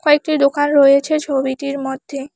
কয়েকটি দোকান রয়েছে ছবিটির মধ্যে।